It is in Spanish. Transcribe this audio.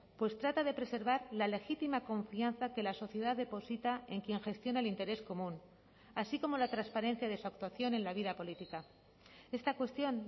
pues trata de preservar la legítima confianza que la sociedad deposita en quien gestiona el interés común así como la transparencia de su actuación en la vida política esta cuestión